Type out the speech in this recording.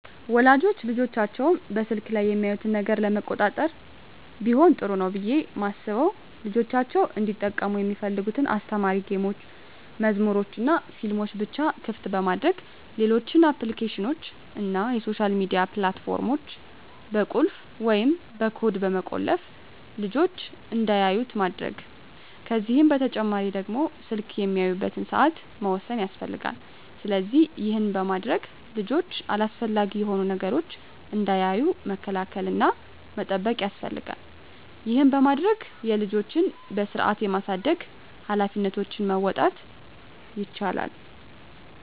ወላጆች ልጆቻቸው በስልክ ላይ የሚያዩትን ነገር ለመቆጣጠር ቢሆን ጥሩ ነው ብየ ማስበው ልጆቻቸው እንዲጠቀሙ ሚፈልጉትን አስተማሪ ጌሞችን፣ መዝሙሮችንናፊልሞችን ብቻ ክፍት በማድረግ ሌሎች አፕሊኬሽኖችን እና የሶሻል ሚዲያ ፕላት ፎርሞችን በቁልፍ ወይም በኮድ በመቆለፍ ልጅች እንዳያዩት ማድረግ ከዚህ በተጨማሪ ደግሞ ስልክ የሚያዩበትን ሰአት መወሰን ያስፈልጋል። ስለዚህ ይህን በማድረግ ልጆች አላስፈላጊ የሆኑ ነገሮችን እንዳያዩ መከላከል እና መጠበቅ ያስፈልጋል ይህን በማድረግ የልጆችን በስርአት የማሳደግ ሀላፊነቶችን መወጣት ይቻላል።